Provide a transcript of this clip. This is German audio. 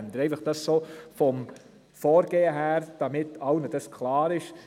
Dies, damit das Vorgehen allen klar ist.